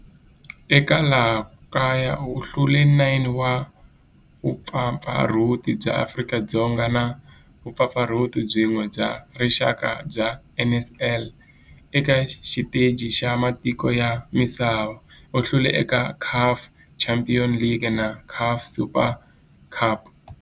Eka laha kaya u hlule 9 wa vumpfampfarhuti bya Afrika-Dzonga na vumpfampfarhuti byin'we bya rixaka bya NSL. Eka xiteji xa matiko ya misava, u hlule eka CAF Champions League na CAF Super Cup.